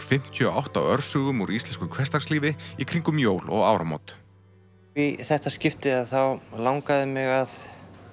fimmtíu og átta örsögum úr íslensku hversdagslífi í kringum jól og áramót í þetta skipti langaði mig að